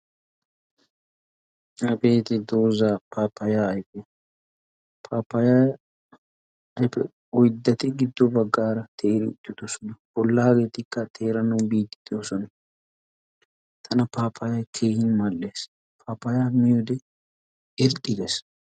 Hageti dooza papaya ayfe. papaya ayfe oyddati giddo baggara teeri uttidoosona. bollageetikka teeranaw biide doosona. tana papaya miyoode mal''ees. papaya min irzzi gees.